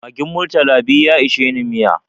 Magin murtala biyu ya isheni miya